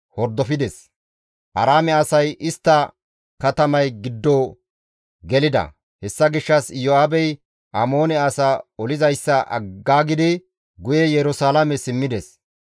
Aaraame asay baqatidayssa Amoone asay be7idi isttika Abisaye sinththafe baqatidi gede katamay giddo gelida; hessa gishshas Iyo7aabey Amoone asaa olizayssa aggaagidi guye Yerusalaame simmides.